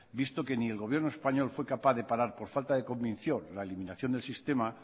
visto que ni el gobierno español fue capaz de parar por falta de convicción la eliminación del sistema